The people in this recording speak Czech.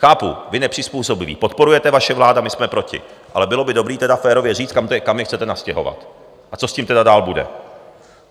Chápu, vy nepřizpůsobivé podporujete, vaše vláda, my jsme proti, ale bylo by dobré tedy férově říct, kam je chcete nastěhovat a co s tím tedy dále bude.